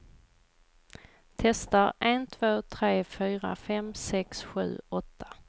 Testar en två tre fyra fem sex sju åtta.